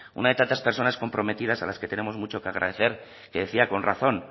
una de tantas personas comprometidas a las que tenemos mucho que agradecer que decía con razón